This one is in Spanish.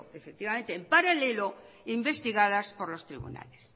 efectivamente en paralelo investigadas por los tribunales